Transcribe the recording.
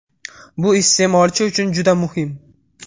Bu iste’molchi uchun juda muhim.